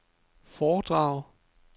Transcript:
foredrag